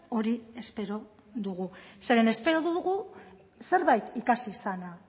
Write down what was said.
hori espero dugu zeren espero dugu zerbait ikasi izana